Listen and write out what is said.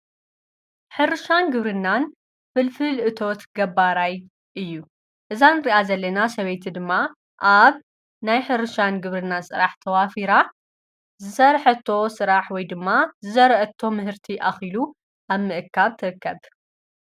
ሕርሻን ግብርናን ፍልፍል እቶወት ገባራይ እዩ እዛን ርኣ ዘሌና ሰበይቲ ድማ ኣብ ናይ ሕርሻን ግብርናን ጽራሕ ተዋፊራ ዘርኅቶ ሥራሕ ወይ ድማ ዝዘርዕቶ ምህርቲ ኣኺሉ ኣብ ምእካ ተከብር።